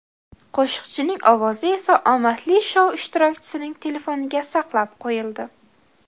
Qo‘shiqchining ovozi esa omadli shou ishtirokchisining telefoniga saqlab qo‘yildi.